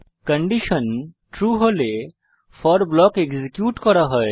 condition true হলে for block execute করা হবে